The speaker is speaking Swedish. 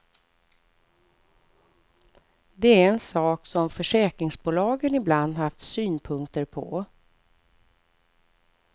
Det är en sak som försäkringsbolagen ibland haft synpunkter på.